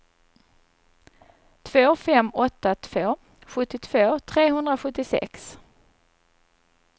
två fem åtta två sjuttiotvå trehundrasjuttiosex